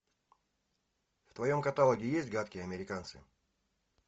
в твоем каталоге есть гадкие американцы